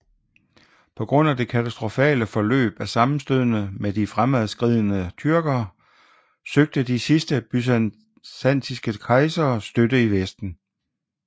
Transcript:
På grund af det katastrofale forløb af sammenstødene med de fremadskridende tyrker søgte de sidste byzantinske kejsere støtte i Vesten